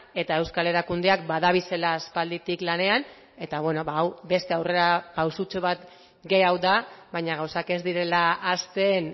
eta euskal erakundeak badabilela aspalditik lanean eta beno ba hau beste aurrera pausutxo bat gehiago da baina gauzak ez direla hasten